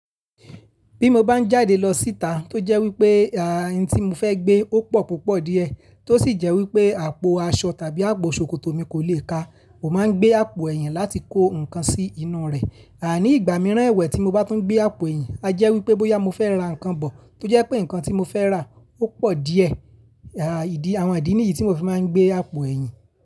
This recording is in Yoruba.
Bí mo bá ń jáde lọ síta tó jẹ́ wípé, à, ohun tí mo fẹ́ gbé ó pọ̀ púpọ̀ díẹ̀ tó sì jẹ́ wípé àpò aṣọ tàbí àpò ṣòkòtò mi kò lè ká, mo máa ń gbé àpò ẹ̀yìn láti kó nǹkan sí inú rẹ̀. À ní ìgbà mìíràn ẹwẹ́ tí mo bá tún gbé àpò ẹ̀yìn, a jẹ́ wípé bóyá mo fẹ́ ra nǹkan bọ̀ tó jẹ́ pé nǹkan tí mo fẹ́ rà ó pọ̀ díẹ̀. À, ìdí, àwọn ìdí nìyí tí mo fi máa ń gbé àpò ẹ̀yìn.